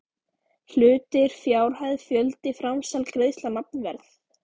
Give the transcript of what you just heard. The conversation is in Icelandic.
Hlutir fjárhæð fjöldi framsal greiðsla nafnverð